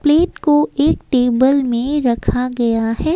Plate को एक table में रखा गया है।